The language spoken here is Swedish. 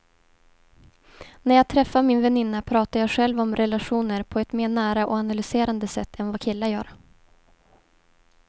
När jag träffar min väninna pratar jag själv om relationer på ett mer nära och analyserande sätt än vad killar gör.